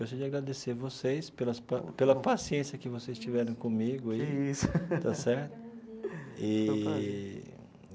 Eu gostaria de agradecer vocês pelas pa pela paciência que vocês tiveram comigo aí. Que isso. Está certo? Eee.